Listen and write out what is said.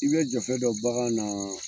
I Ka jɛn fɛn dɔ bagan na.